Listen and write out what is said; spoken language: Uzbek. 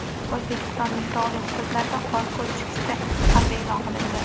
O‘zbekistonning tog‘li hududlarida qor ko‘chkisi xavfi e’lon qilindi.